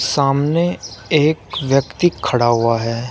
सामने एक व्यक्ति खड़ा हुआ है।